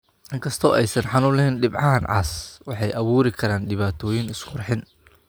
Inkastoo aysan xanuun lahayn, dhibcahan cas waxay abuuri karaan dhibaatooyin isqurxin.